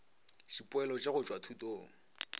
dipoelo tša go tšwa thutong